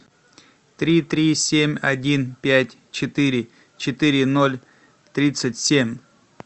три три семь один пять четыре четыре ноль тридцать семь